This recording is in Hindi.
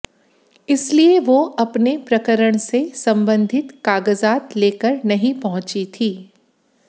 इसलिए वो अपने प्रकरण से संबंधित कागजात लेकर नहीं पहुंची थी